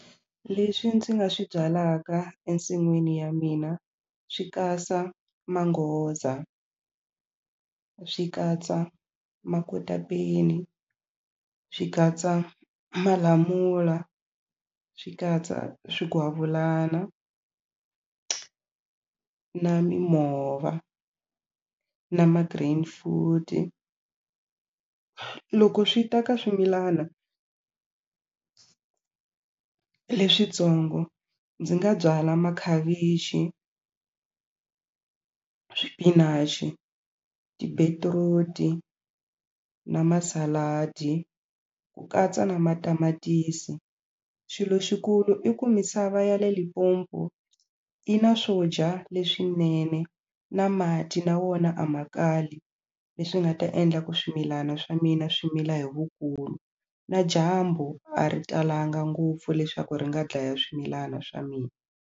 Leswi ndzi nga swi byalaka ensin'wini ya mina swi katsa manghoza swi katsa makotapeni swi katsa malamula swi katsa swigwavulana na mimova na ma-green food loko swi ta ka swimilana leswitsongo ndzi nga byala makhavichi swipinachi tibetiruti na masaladi ku katsa na matamatisi xilo xikulu i ku misava ya le Limpopo yi na swo dya leswinene na mati na wona a ma kali leswi nga ta endla ku swimilana swa mina swi mila vukulu na dyambu a ri talanga ngopfu leswaku ri nga dlaya swimilana swa mina.